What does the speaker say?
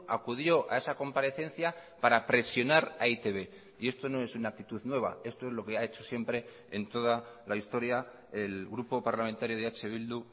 acudió a esa comparecencia para presionar a e i te be y esto no es una actitud nueva esto es lo que ha hecho siempre en toda la historia el grupo parlamentario de eh bildu